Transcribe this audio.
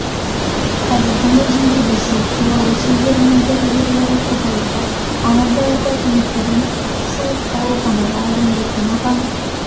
қазірдің өзінде ресей беларусь елдерінің дәрігерлері қызығуда амантай апа демікпеден қысылып ауруханаға әрең жеткен отандық